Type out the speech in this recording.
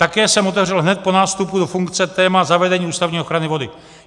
Také jsem otevřel hned po nástupu do funkce téma zavedení ústavní ochrany vody.